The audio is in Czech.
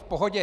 V pohodě.